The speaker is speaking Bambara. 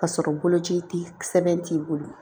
Ka sɔrɔ bolo ci ti sɛbɛn t'i bolo